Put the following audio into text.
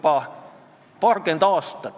Päris suur konsensus!